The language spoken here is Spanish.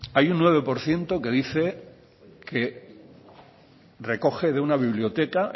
hay un nueve por ciento que dice que recoge de una biblioteca